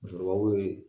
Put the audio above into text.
Musokɔrɔbaw ye